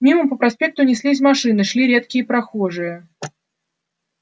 мимо по проспекту неслись машины шли редкие прохожие